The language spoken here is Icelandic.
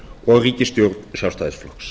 og ríkisstjórn sjálfstæðisflokks